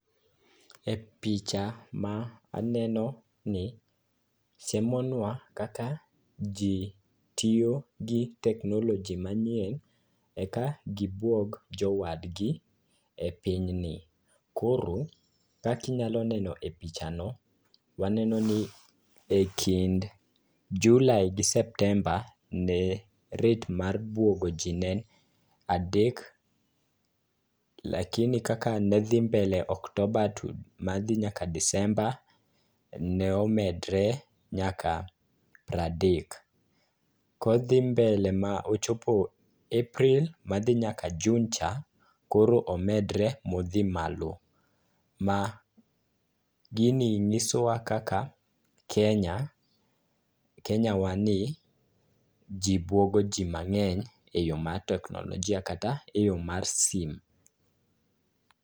E picha ma anenoni siemonwa kaka ji tiyo gi teknoloji manyien eka gibwog jodwadgi e pinyni. Koro kaka inyalo neno e pichano, waneno ni e kind julai gi septemba ne rate mar bwogo ji ne en adek lakini kaka ne dhi mbele octoba madhi nyaka disemba ne omedre nyaka pradek. kodhi mbele ma ochopo epril madhi nyaka jun cha ,koro omedre ma odhi malo. Ma gini nyisowa kaka Kenyawa ni ji bwogoji mang'eny eyo mar teknolojia kata e yo mar sim.